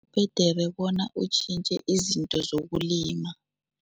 Kubhedere bona utjhintjhe izinto zokulima.